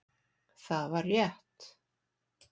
Það var rétt